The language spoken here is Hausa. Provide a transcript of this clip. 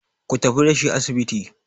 ku tafi da shi asibiti!